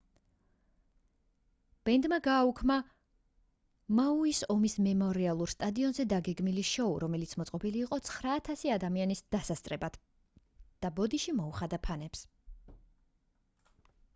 ბენდმა გააუქმა მაუის ომის მემორიალურ სტადიონზე დაგეგმილი შოუ რომელიც მოწყობილი იყო 9000 ადამიანის დასასწრებად და ბოდიში მოუხადა ფანებს